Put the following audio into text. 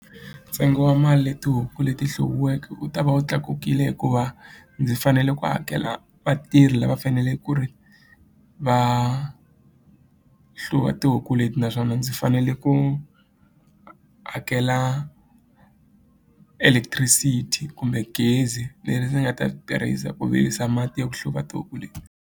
Ntsengo wa mali leyi tihuku leti hluviweke u ta va wu tlakukile hikuva ndzi fanele ku hakela vatirhi lava fanele ku ri va hluva tihuku leti naswona ndzi fanele ku hakela electricity kumbe gezi leri ndzi nga ta ri tirhisa ku virisa mati ya ku hluva tihuku leti.